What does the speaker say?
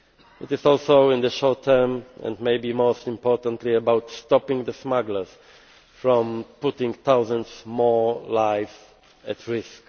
It is also in the short term and maybe most importantly about stopping the smugglers from putting thousands more lives at risk.